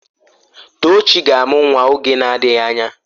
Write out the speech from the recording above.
Tochi ga-amụ nwa oge na-adịghị anya.